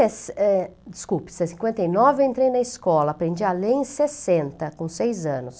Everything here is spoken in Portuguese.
Es é desculpe, se é cinquenta e nove eu entrei na escola, aprendi a ler em sessenta, com seis anos.